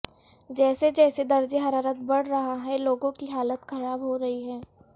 جیسے جیسے درجہ حرارت بڑھ رہا ہے لوگوں کی حالت خراب ہو رہی ہے